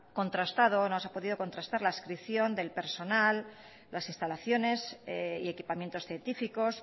contrastado no se ha podido contrastar la adscripción del personal las instalaciones y equipamientos científicos